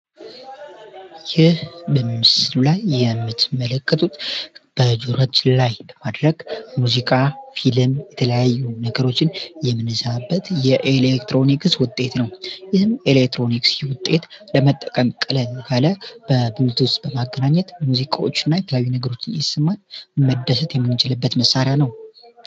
ይህ በምስሉ ላይ የምትመለከቱት በጆሮአችን ላይ በማድረግ የተለያዩ ሙዚቃዎችን የምንሰማበት የኤሌክትሮኒክስ ውጤት ነው ይህ የኤሌክትሮኒክስ ውጤት ለመጠቀም ቀለል ያለ በብሉቱዝ በማገናኘት ሙዚቃዎችን እየሰማን መደሰት የምንችልበት መሳሪያ ነው።